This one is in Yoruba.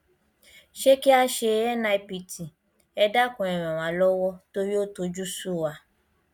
sé kí a ṣe nipt ẹ dákun ẹ ràn wá lọwọ torí ó tojú sú wa